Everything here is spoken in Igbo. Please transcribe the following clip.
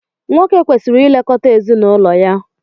nwoke kwesịrị ilekọta ezinụlọ ya